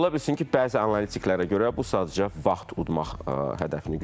Ola bilsin ki, bəzi analitiklərə görə bu sadəcə vaxt udmaq hədəfini güdür.